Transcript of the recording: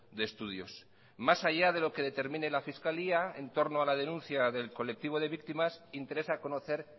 de estudios más allá de lo que determine la fiscalía entorno a la denuncia del colectivo de víctimas interesa conocer